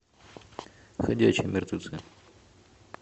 ходячие мертвецы